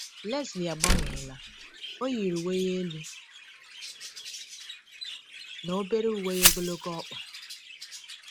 Lesley agbanweela, o yiri uwe elu na obere uwe ogologo ọkpa.